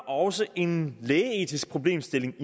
også en lægeetisk problemstilling